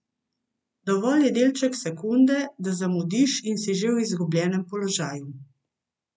Dovolj je delček sekunde, da zamudiš in si že v izgubljenem položaju.